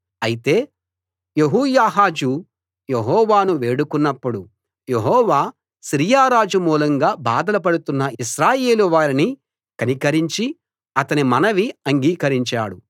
అయితే యెహోయాహాజు యెహోవాను వేడుకున్నప్పుడు యెహోవా సిరియా రాజు మూలంగా బాధలు పడుతున్న ఇశ్రాయేలు వారిని కనికరించి అతని మనవి అంగీకరించాడు